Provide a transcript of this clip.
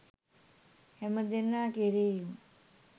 හැමදෙනා කෙරෙහිම